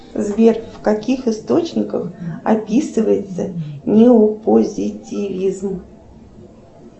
сбер в каких источниках описывается неопозитивизм